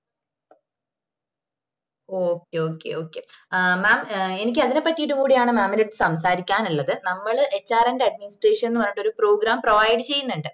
okay okay okay ah mam എനിക്ക് അതിനെ പറ്റിറ്റ് കൂടെ ആണ് mam ന്റേത് സംസാരിക്കാനുള്ളത് നമ്മള് hrand administration പറഞ്ഞിട്ട് ഒരു program provide ചെയ്യുന്നുണ്ട്